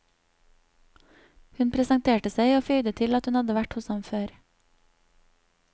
Hun presenterte seg og føyde til at hun hadde vært hos ham før.